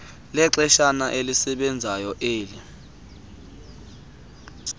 lexeshana elisebenzayo eli